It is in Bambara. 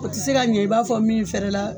O tɛ se ka ɲɛn i b'a fɔ min fɛrɛ la.